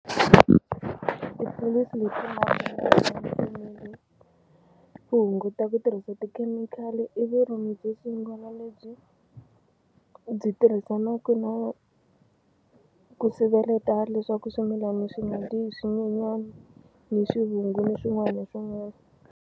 tipholisi leti nga fanele ku hunguta ku tirhisa tikhemikhali i vurimibyo sungula lebyi byi tirhisanaka na ku siveleta leswaku swimilana swi nga dyi hi swinyenyani ni swivungu ni swin'wana ni swin'wana.